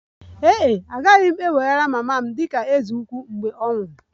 Ee e, agaghị m eweghara mama m dị ka eze ukwu mgbe ọ nwụrụ